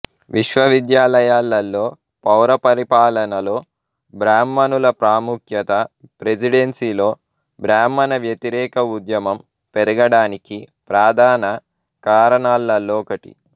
విశ్వవిద్యాలయాలలో పౌర పరిపాలనలో బ్రాహ్మణుల ప్రాముఖ్యత ప్రెసిడెన్సీలో బ్రాహ్మణ వ్యతిరేక ఉద్యమం పెరగడానికి ప్రధాన కారణాలలో ఒకటి